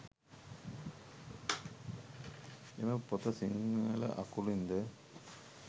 එම පොත සිංහල අකුරින් ද